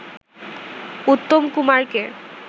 উত্তম কুমারকে